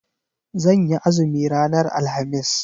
Zan yi azumi ranar alhamis.